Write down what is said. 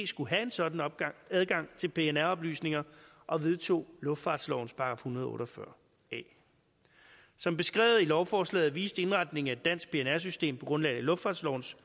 skulle have en sådan adgang adgang til pnr oplysninger og vedtog luftfartslovens § en hundrede og otte og fyrre a som beskrevet i lovforslaget viste indretningen af et dansk pnr system på grundlag af luftfartslovens